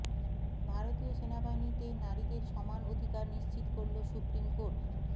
ভারতীয় সেনাবাহিনীতে নারীদের সমান অধিকার নিশ্চিত করল সুপ্রিম কোর্ট